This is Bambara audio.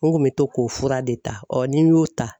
N kun bɛ to k'o fura de ta n'i y'o ta.